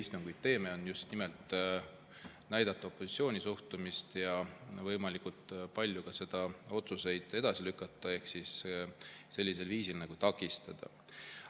just nimelt näidata opositsiooni suhtumist ja võimalikult palju neid otsuseid edasi lükata ehk siis sellisel viisil takistada.